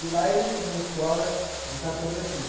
E lá eles tinham escola de cartografia.